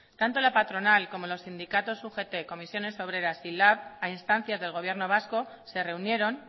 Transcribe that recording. tanto la patronal como los sindicatos ugt comisiones obreras y lab a instancias del gobierno vasco se reunieron